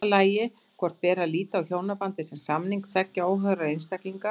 Í fyrsta lagi hvort beri að líta á hjónabandið sem samning tveggja óháðra einstaklinga.